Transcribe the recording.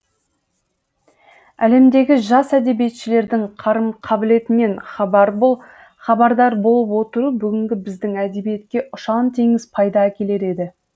әлемдегі жас әдебиетшілердің қарым қабылетінен хабардар болып отыру бүгінгі біздің әдебиетке ұшан теңіз пайда әкелер еді